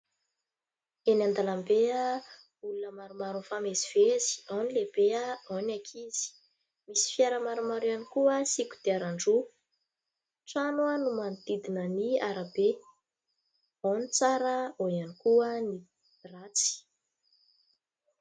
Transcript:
Eny an-dalambe, olona maromaro mifamezivezy : ao ny lehibe, ao ny ankizy, misy fiara maromaro ihany koa sy kodiaran-droa, trano no manodidina ny arabe, ao ny tsara ao ihany koa ny ratsy.